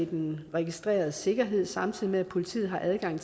den registreredes sikkerhed samtidig med at politiet har adgang